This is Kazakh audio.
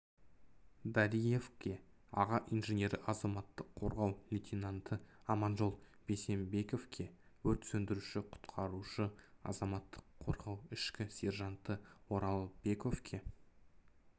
дариевке аға инженері азаматтық қорғау лейтенанты аманжол бейсенбековке өрт сөндіруші-құтқарушы азаматтық қорғау кіші сержанты оралбековке